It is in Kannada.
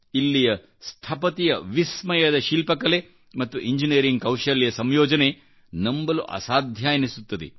ಇಲ್ಲಿಯ ಸ್ಥಪತಿಯವಿಸ್ಮಯದ ಶಿಲ್ಪಕಲೆ ಮತ್ತು ಇಂಜಿನಿಯರಿಂಗ್ಕೌಶಲ್ಯ ಸಂಯೋಜನೆ ನಂಬಲು ಅಸಾಧ್ಯ ಎನಿಸುತ್ತದೆ